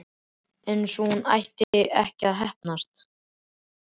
Einsog hún ætti ekki að heppnast.